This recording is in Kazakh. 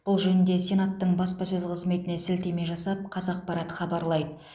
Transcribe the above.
бұл жөнінде сенаттың баспасөз қызметіне сілтеме жасап қазақпарат хабарлайды